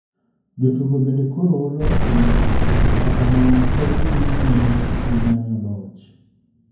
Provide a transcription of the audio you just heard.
Jotugo bende koro olo osemako ,to kata kamano pod gidhi nyime gi manyo loch.